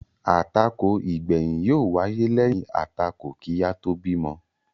Àtakò igbẹyin yó wáyé lẹyìn àtakò kí a tóò bímọ